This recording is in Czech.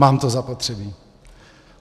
Mám to zapotřebí.